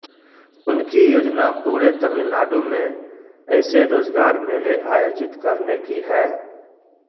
उनकी योजना पूरे तमिलनाडु में ऐसे रोजगार मेले आयोजित करने की है